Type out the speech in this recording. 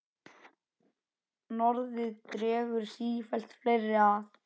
Norðrið dregur sífellt fleiri að.